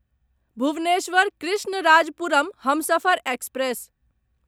Bhubaneswar Krishnarajapuram Humsafar express